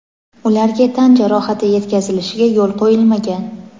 ularga tan jarohati yetkazilishiga yo‘l qo‘yilmagan.